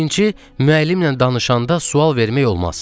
Birinci, müəllimlə danışanda sual vermək olmaz.